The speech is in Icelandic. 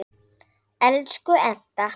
Elsku Edda.